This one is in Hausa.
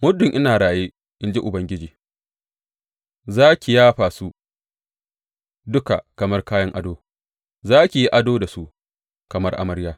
Muddin ina raye, in ji Ubangiji, Za ki yafa su duka kamar kayan ado; za ki yi ado da su, kamar amarya.